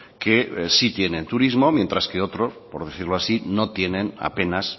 que sí tienen turismo mientras que otros por decirlo así no tienen apenas